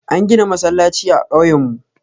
An gina masallaci a ƙauye mu.